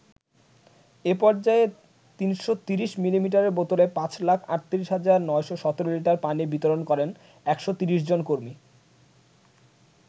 এ পর্যায়ে ৩৩০ মিলিলিটারের বোতলে পাঁচ লাখ ৩৮ হাজার ৯১৭ লিটার পানি বিতরণ করেন ১৩০ জন কর্মী।